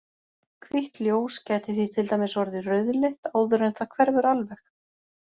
Hvítt ljós gæti því til dæmis orðið rauðleitt áður en það hverfur alveg.